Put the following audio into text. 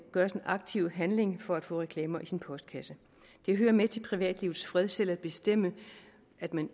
gøres en aktiv handling for at få reklamer i sin postkasse det hører med til privatlivets fred selv at bestemme hvad man